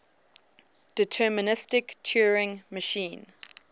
deterministic turing machine